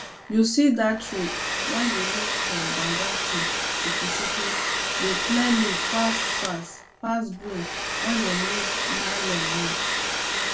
you see that rake way dey make from banga tree chukuchuku dey clear leaf fast fast pass broom dem use nylon make